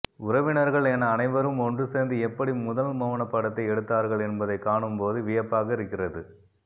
உறவினர்கள் என அனைவரும் ஒன்று சேர்ந்து எப்படி முதல் மௌனப்படத்தை எடுத்தார்கள் என்பதைக்காணும் போது வியப்பாக இருக்கிறது